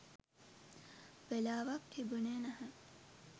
වෙලාවක් තිබුනේ නැහැ.